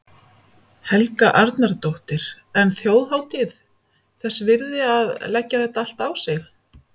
Helga Arnardóttir: En þjóðhátíð þess virði að, að leggja þetta á sig allt?